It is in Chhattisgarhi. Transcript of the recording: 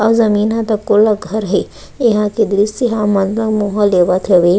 आऊ जमीन ह तको हे यहाँ के दृश्य ह हमन ला मोह लेवत हवे--